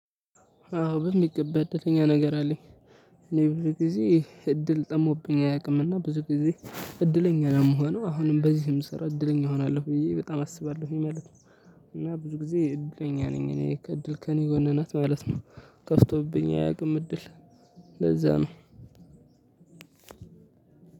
አዎ በሚገባ እድለኛ ነገር አለኝ። እኔ ብዙ ጊዜ እድል ጠሞብኝ አያውቅምና ብዙ ጊዜ እድለኛ ነው የምሆነው አሁንም በዚህ የምሰራው እድለኛ እሆናለሁ ብዬ በጣም አስባለሁኝ ማለት ነው። እና ብዙ ጊዜ እድለኛ ነኝ እኔ ከእድል ከእኔ ጎንናት ማለት ነው። ከፍቶብኝ አያውቅም እድል። ለዛ ነው።